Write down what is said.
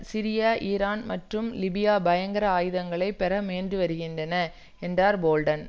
Syria Iran மற்றும் Libya பயங்கர ஆயுதங்களை பெற முயன்றுவருகின்றன என்றார் போல்டன்